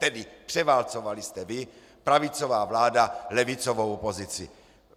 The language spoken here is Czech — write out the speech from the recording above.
Tedy převálcovali jste vy, pravicová vláda, levicovou opozici.